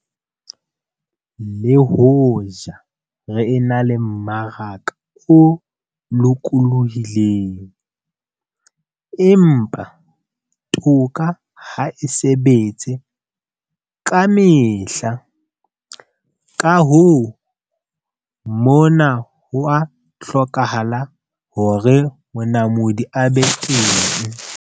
Le hoja re ena le mmaraka o lokolohileng, empa toka ha e sebetse ka mehla. Ka hoo, mona ho a hlokahala hore monamodi a be teng.